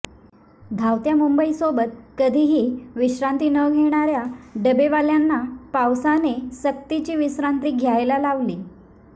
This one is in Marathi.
धावत्या मुंबईसोबत कधीही विश्रांती न घेणाऱ्या डबेवाल्यांना पावसाने सक्तीची विश्रांती घ्यायला लावली